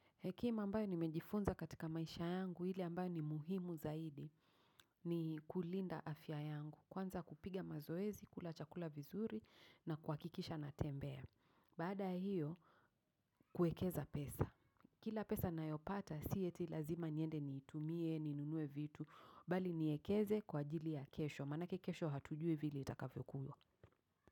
Hekima ambayo nimejifunza katika maisha yangu, ile ambayo ni muhimu zaidi ni kulinda afya yangu. Kwanza, kupiga mazoezi, kula chakula vizuri na kuhakikisha na tembea. Baada ha hio, kuekeza pesa. Kila pesa nayopata, si eti lazima niende niitumie, ninunue vitu, bali niekeze kwa ajili ya kesho. Manake kesho hatujui vile itakavyo kuwa.